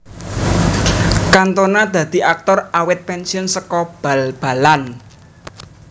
Cantona dadi aktor awit pensiun saka bal balan